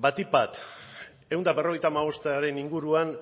batik bat ehun eta berrogeita hamabostaren inguruan